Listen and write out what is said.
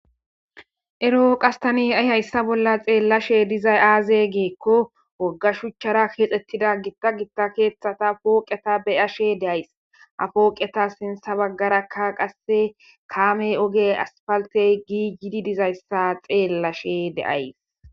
Erro hayi ta hayisa bolla xelashe dizayi aze giko wogga shuchara kexetidda wogga wogga shuchatara kexetida poqeta beyashe deyayisi ha poqeta sinitha baggara qasse kame ogeyi asifaliteyi giggidi dizayisa xelashe deyayisi